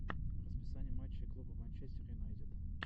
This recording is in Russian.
расписание матчей клуба манчестер юнайтед